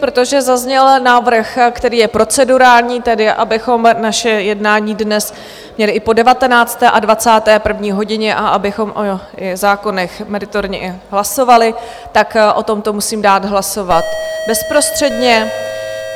Protože zazněl návrh, který je procedurální, tedy abychom naše jednání dnes měli i po 19. a 21. hodině a abychom i o zákonech meritorně hlasovali, tak o tomto musím dát hlasovat bezprostředně.